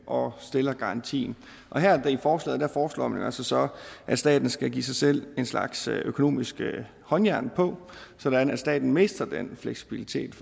og stiller garantien og her i forslaget foreslår man så så at staten skal give sig selv en slags økonomiske håndjern på sådan at staten mister den fleksibilitet